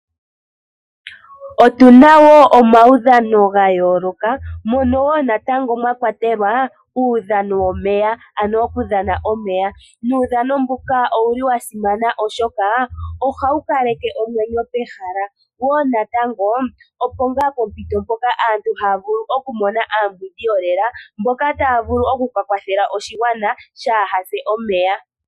Otuna wo omawudhano gayooloka, mono wo natango mwakwatelwa uudhano womeya ano okudhana omeya. Nuudhano mbuka owuli wasimana oshoka ohawu kaleke omwenyo pehala, wo natango opo ngaa pompito mpoka aantu haya vulu okumona aambwindi yolela mboka taya vulu okukawathela aakwashigwana kaaya se omeya.